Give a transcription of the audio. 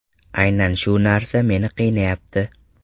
Aynan shu narsa meni qiynayapti.